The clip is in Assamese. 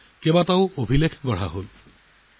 যোগ দিৱসে বিশ্বজুৰি বহুতো মহান কৃতিত্ব লাভ কৰিছে